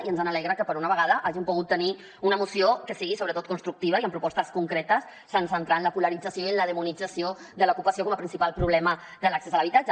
i ens alegra que per una vegada hàgim pogut tenir una moció que sigui sobretot constructiva i amb propostes concretes sense entrar en la polarització i en la demonització de l’ocupació com a principal problema de l’accés a l’habitatge